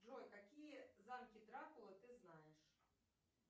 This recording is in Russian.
джой какие замки дракулы ты знаешь